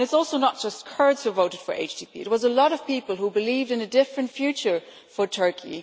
It is also not just Kurds who voted for HDP, it was a lot of people who believed in a different future for Turkey.